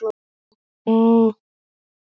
Veistu hver